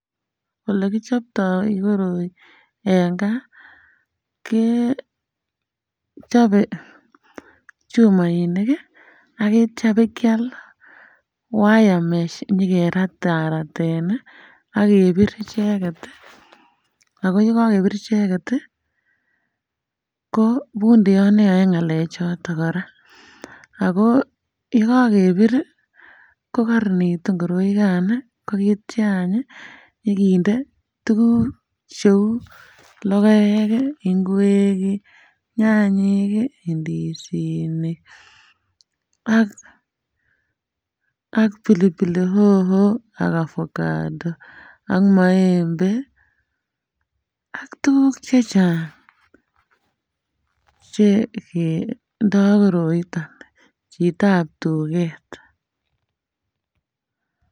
Ole kichoptoo koroi en gaa kechoben chumoinik ak ityo ibakial wayamesh nyokerataraten nii ak kebir icheket tii ako yekokebir icheket tii ko pundiot neyoe ngalek choton Koraa ako yekokebir ko koronitu koroikan ak ityo anch nyokinde tukuk cheu lokek kii, ingwek kii, nyanyik kii, indisinik ak pili pili hoho ak ovacado ak maembe ak tukuk che chang chekendo koroiton chitab tuket.